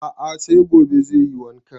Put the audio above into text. A'a sai gobe zai yi wanka